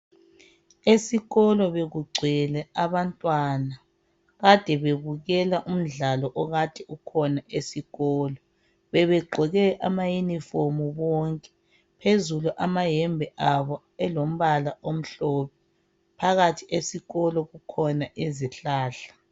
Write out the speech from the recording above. Esikolo bekugcwele abantwana ade bebukela umdlalo ade ukhona esikolo bebegqoke amayunifomu bonke phezulu amayembe abo elombala omhlophe phakathi esikolo kukhona izihlahla.